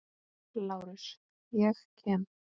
LÁRUS: Ég kem.